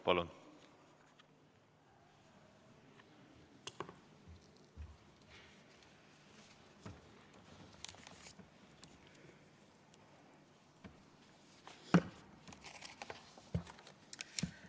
Palun!